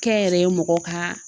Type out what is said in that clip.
Kɛnyɛrɛye mɔgɔw ka